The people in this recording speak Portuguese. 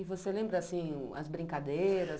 E você lembra assim as brincadeiras?